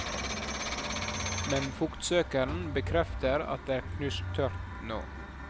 Men fuktsøkeren bekrefter at det er knusktørt nå.